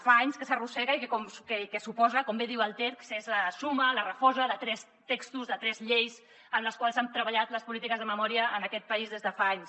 fa anys que s’arrossega i com bé diu el text és la suma la refosa de tres textos de tres lleis en les quals han treballat les polítiques de memòria en aquest país des de fa anys